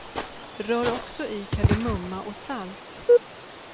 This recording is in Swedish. Rör också i kardemumma och salt.